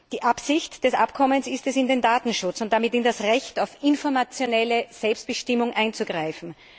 Die Absicht des Abkommens ist es, in den Datenschutz und damit in das Recht auf informationelle Selbstbestimmung einzugreifen.